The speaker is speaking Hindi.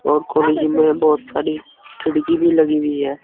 और कॉलेज में बहोत सारी खिड़की भी लगी हुई है।